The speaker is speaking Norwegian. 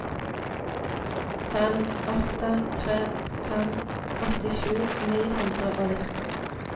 fem åtte tre fem åttisju ni hundre og nitti